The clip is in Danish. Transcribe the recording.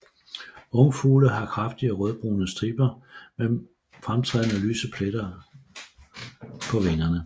Ungfugle har kraftige rødbrune striber med fremtrædende lyse pletter pletter på vingerne